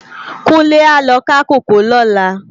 Kunle á lò ká kókòó lòlá